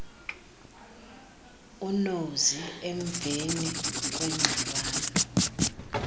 unozi emveni kwengxabano